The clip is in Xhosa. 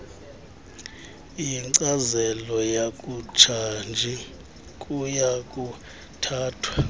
yenkcazelo yakutshanje kuyakuthathwa